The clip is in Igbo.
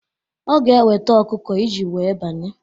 Ọ ga eweta ọkụkọ iji wee banye